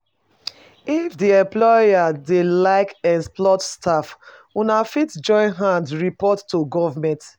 If di employer dey like exploit staff una fit join hand report to government